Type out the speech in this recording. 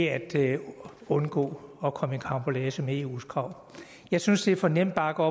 altså ved at undgå at komme i karambolage med eus krav jeg synes det er for nemt bare at gå